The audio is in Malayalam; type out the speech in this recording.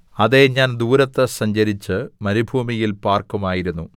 അതേ ഞാൻ ദൂരത്ത് സഞ്ചരിച്ച് മരുഭൂമിയിൽ പാർക്കുമായിരുന്നു സേലാ